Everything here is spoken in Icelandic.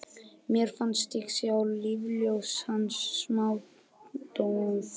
Mér fannst ég sjá lífsljós hans smádofna.